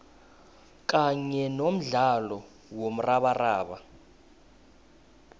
kanye nomdlalo womrabaraba